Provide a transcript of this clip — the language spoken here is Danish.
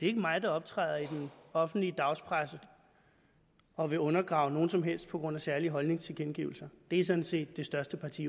er mig der optræder i den offentlige dagspresse og vil undergrave nogen som helst på grund af særlige holdningstilkendegivelser det er sådan set det største parti